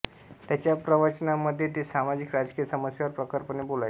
त्यांच्या प्रवाचानांमध्ये ते सामाजिक राजकीय समस्यांवर प्रखरपणे बोलायचे